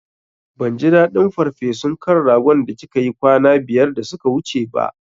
Ban ji daɗin farfesun kan ragon da kika yi kwana biyar da suka wuce ba